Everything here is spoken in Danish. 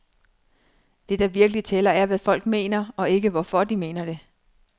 Det, der virkelig tæller, er, hvad folk mener, og ikke hvorfor de mener det.